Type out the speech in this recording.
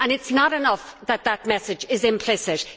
It is not enough that that message is implicit.